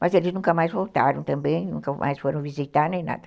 Mas eles nunca mais voltaram também, nunca mais foram visitar nem nada.